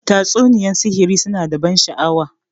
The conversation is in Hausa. Tatsuniyar sihiri su na da ban sha'awa.